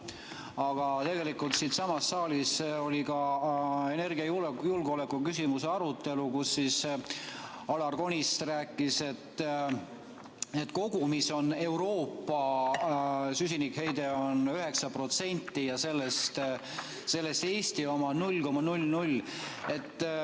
Aga siinsamas saalis oli ka energiajulgeoleku küsimuse arutelu, kus Alar Konist rääkis, et kogumis on Euroopa süsinikuheide 9% ja sellest Eesti oma 0,00.